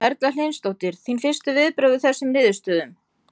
Erla Hlynsdóttir: Þín fyrstu viðbrögð við þessum niðurstöðum?